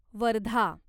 Wardha